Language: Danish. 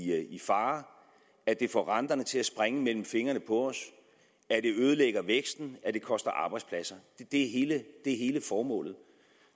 fare at det får renterne til at springe mellem fingrene på os at det ødelægger væksten at det koster arbejdspladser det er hele formålet